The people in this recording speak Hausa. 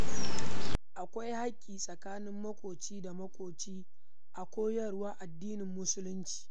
Akwai haƙƙi tsakanin maƙwabci da maƙwabci a koyarwar addinin musulunci